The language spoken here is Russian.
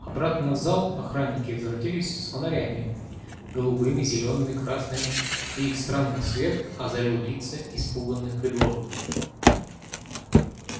обратно в зал охранники возвратились с фонарями голубыми зелёными красными и их странный свет озарил лица испуганных придворных